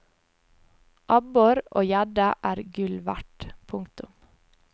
Abbor og gjedde er gull verd. punktum